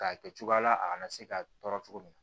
K'a kɛ cogoya la a kana se ka tɔɔrɔ cogo min na